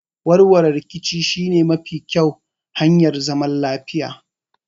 Warwarewar riƙici shi ne mafi ƙƴau hanyar zaman lafiya.